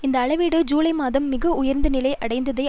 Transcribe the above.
இந்த அளவீடு ஜூலை மாதம் மிக உயர்ந்த நிலை அடைந்ததை